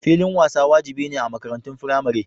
Filin wasa wajibi ne a makarantun Firamare.